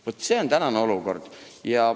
Vaat see on tänane olukord.